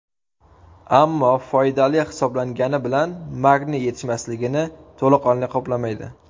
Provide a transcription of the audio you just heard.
Ammo foydali hisoblangani bilan magniy yetishmasligini to‘laqonli qoplamaydi.